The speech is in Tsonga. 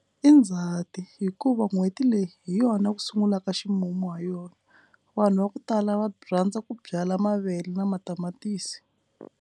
I ndzhati hikuva n'hweti leyi hi yona ku sungulaka ximumu ha yona. Vanhu va ku tala va by rhandza ku byala mavele na matamatisi.